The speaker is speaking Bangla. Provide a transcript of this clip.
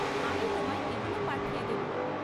আমি তোমায় এগুলো পাঠিয়ে দেব।